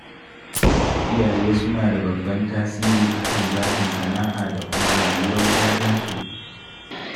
Iyaye suna da babban tasiri a kan zaɓin sana'a da kuma rayuwar 'ya'yansu